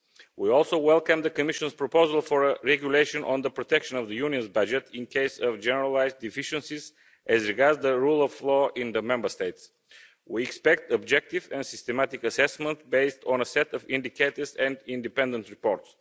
We also welcome the Commission's proposal for a regulation on the protection of the Union's budget in the case of generalised deficiencies as regards the rule of law in the Member States. We expect objective and systematic assessment based on a set of indicators and independent report.